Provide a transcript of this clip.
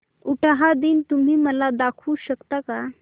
उटाहा दिन तुम्ही मला दाखवू शकता का